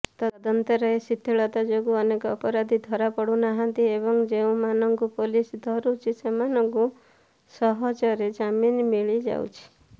ତଦନ୍ତରେ ଶିଥିଳତା ଯୋଗୁଁ ଅନେକ ଅପରାଧୀ ଧରାପଡୁନାହାଁନ୍ତି ଏବଂ ଯେଉଁମାନଙ୍କୁ ପଲିସ ଧରୁଛି ସେମାନଙ୍କୁ ସହଜରେ ଜାମିନ ମିଳିଯାଉଛି